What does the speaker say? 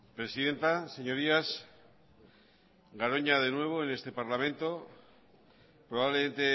presidenta señorías garoña de nuevo en este parlamento probablemente